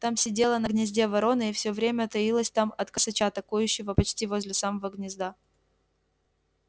там сидела на гнезде ворона и всё время таилась там от косача токующего почти возле самого гнезда